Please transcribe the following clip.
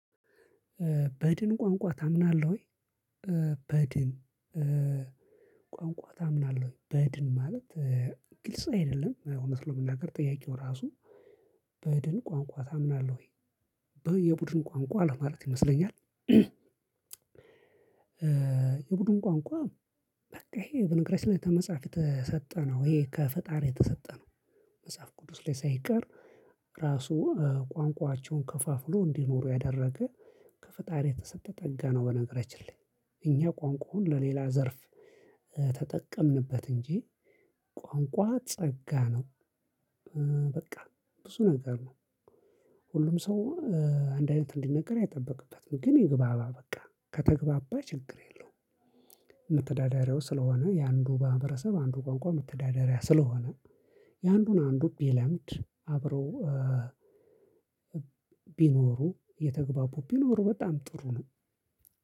በድን ቋንቋ ታምናለህ ወይ? በድን ቋንቋ ታምናለህ ወይ? በድን ማለት ግልጽ አይደለም እውነት ለመናገር ጥያቄው ራሱ በድን ቋንቋ ታምናለህ ወይ? በ የቡድን ቋንቋ ለማለት ይመስለኛል። የቡድን ቋንቋ በቃ ይሄ በነገራችን ላይ ተመጽሐፍ የተሰጠ ነው። ይሄ ከፈጣሪ የተሰጠ ነው። መጽሐፍ ቅዱስ ላይ ሳይቀር ራሱ ቋንቋቸውን ከፋፍሎ እንዲኖሩ ያደረገ ከፈጣሪ የተሰጠ ጠጋ ነው በነገራችን ላይ። እኛ ቋንቋውን ለሌላ ዘርፍ ተጠቀምንበት እንጂ ቋንቋ ጸጋ ነው። በቃ ብዙ ነገር ነው። ሁሉም ሰው አንድ አይነት እንዲናገር አይጠበቅበትም። ግን ይግባባ በቃ። ከተግባባ ችግር የለውም። መተዳደሪያው ስለሆነ የአንዱ ማህበረሰብ አንዱ ቋንቋ መተዳደሪያ ስለሆነ የአንዱን አንዱ ቢለምድ አብረው ቢኖሩ እየተግባቡ ቢኖሩ በጣም ጥሩ ነው።